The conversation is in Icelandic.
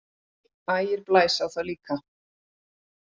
SKÚLI: Ægir blæs á það líka.